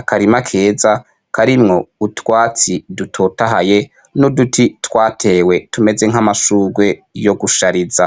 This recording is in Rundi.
akarima keza karimwo utwatsi dutotahaye n'uduti twatewe tumeze nk'amashurwe yo gushariza.